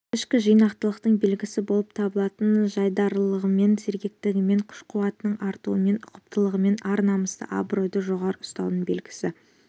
ішкі жинақылықтың белгісі болып табылатын жайдарылығымен сергектілігімен күш-қуатының артуымен ұқыптылығымен ар-намысты абыройды жоғары ұстаудың белгісі